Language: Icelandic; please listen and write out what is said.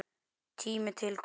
Tími til kominn.